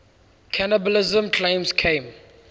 cannibalism claims came